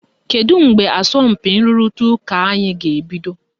Kedu mgbe asọmpi nrụrịta ụka anyị ga-ebido?